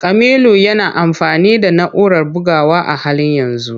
Kamilu yana amfani da na'urar bugawa a halin yanzu.